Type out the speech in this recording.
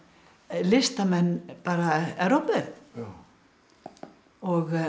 listamenn Evrópu og